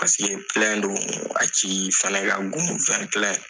Paseke do a ci fɛnɛ ka go .